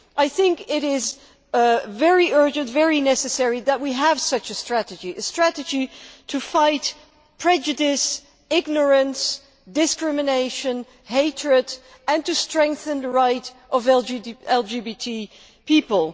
I think it is very urgent and very necessary that we have such a strategy a strategy to fight prejudice, ignorance, discrimination and hatred and to strengthen the rights of LGBT people.